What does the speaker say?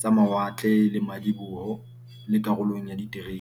tsa mawatle le madiboho, le karolong ya diterene.